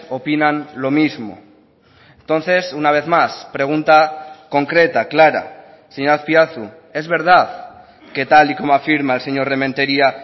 opinan lo mismo entonces una vez más pregunta concreta clara señor azpiazu es verdad que tal y como afirma el señor rementeria